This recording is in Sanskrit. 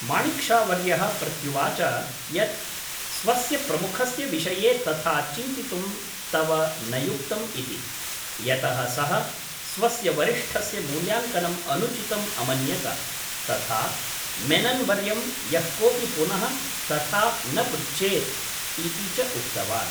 माणिक् शा वर्यः प्रत्युवाच यत् स्वस्य प्रमुखस्य विषये तथा चिन्तितुं तव न युक्तम् इति, यतः सः स्वस्य वरिष्ठस्य मूल्याङ्कनम् अनुचितम् अमन्यत, तथा मेनन् वर्यं यः कोपि पुनः तथा न पृच्छेत् इति च उक्तवान्।